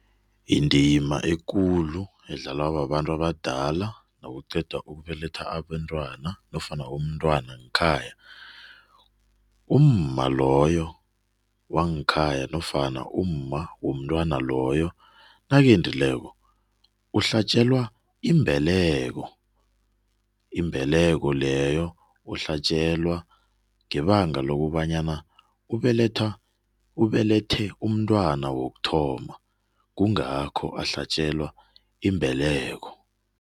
Indima ekulu edlalwa babantu abadala nokuqeda ukubelethwa abentwana nofana umntwana ngekhaya, umma loyo wangekhaya nofana umma womntwana loyo nakendileko uhlatjelwa imbeleko. Imbeleko leyo uhlatjelwa ngebanga lokobana ubelethe umntwana wokuthoma, kungakho ahlatjelwa imbeleko.